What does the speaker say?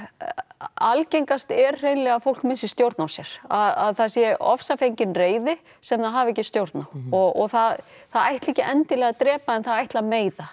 algengast er hreinlega að fólk missi stjórn á sér að það sé ofsafengin reiði sem það hafi ekki stjórn á og það það ætlar ekki endilega að drepa en það ætli að meiða